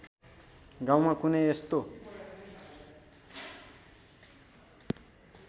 गाउँमा कुनै यस्तो